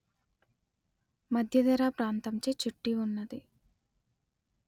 మధ్యధరా ప్రాంతంచే చుట్టి వున్నది